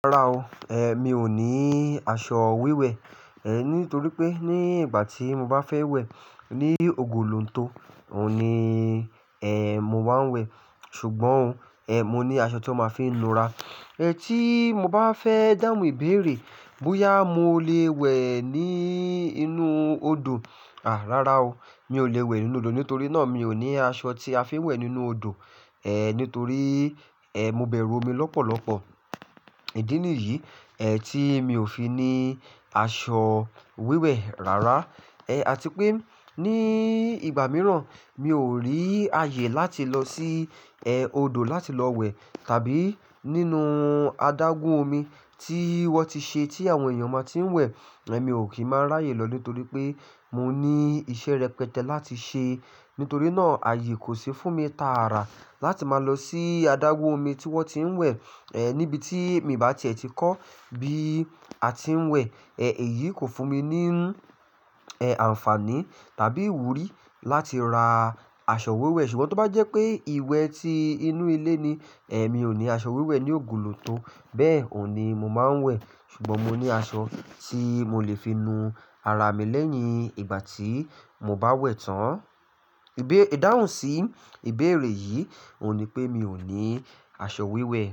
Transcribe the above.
Rárá o, e mi ò ní aṣọ wíwẹ̀, e nítorí pé ní ìgbà tí mo bá fẹ́ wẹ̀ ní ògolontó, o un ni e mo máa ń wẹ̀. Ṣùgbọ́n, e mo ní aṣọ tí ó máa ń fi ń nura. E tí mo bá fẹ́ dáhùn ìbéèrè bóyá mo lè wẹ̀ ní inú odò, à rára o, mi ò lè wẹ̀ nínú odò nítorí náà mi ò ní aṣọ tí a fi ń wẹ̀ nínú odò, e nítorí, e mo bẹ̀rù omi lọ́pọ̀lọ́pọ̀. Ìdí nìyí, ẹ tí mi ò fi ní aṣọ wíwẹ̀ rárá. Àti pé ní ìgbà mìíràn mi ò rí ààyè láti lọ sí, ẹ odò láti lọ wẹ̀ tàbí nínú adágún omi tí wọ́n ti ṣe tí àwọn èèyàn máa tí ń wẹ̀, ẹ mi ò kí máa ráyè lọ nítorí pé mo ní iṣẹ́ rẹpẹtẹ láti ṣe. Nítorí náà ààyè kò ṣi fún mi tààrà láti máa lọ sí adágún omi tí wọ́n ti ń wẹ̀, ẹ níbi tí mi bá ti ẹ̀ ti kọ́ bí a ti ń wẹ̀, ẹ èyí kò fún mi ní, ẹ àǹfààní tàbí ìwúrí láti ra aṣọ wíwẹ̀. Ṣùgbọ́n tó bá jẹ́ pé ìwẹ̀ tí inú ilé ni, ẹ mi ò ní aṣọ wíwẹ̀ ní ògolotó, bẹ́ẹ̀ òní mo máa ń wẹ̀. Ṣùgbọ́n mo ní aṣọ tí mo lè fi nu ara mi lẹ́yìn ìgbà tí mo bá wẹ̀ tán. Ìdáhùn sí ìbéèrè yìí òun ní pé mi ò ní aṣọ wíwẹ̀